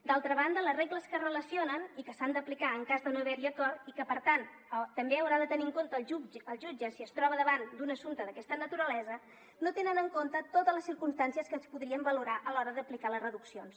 d’altra banda les regles que es relacionen i que s’han d’aplicar en cas de no haver hi acord i que per tant també haurà de tenir en compte el jutge si es troba davant d’un assumpte d’aquesta naturalesa no tenen en compte totes les circumstàncies que es podrien valorar a l’hora d’aplicar les reduccions